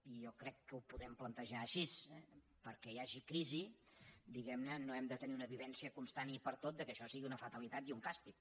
i jo crec que ho podem plantejar així eh perquè hi hagi crisi no hem de tenir una vivència constant i pertot que això sigui una fatalitat i un càstig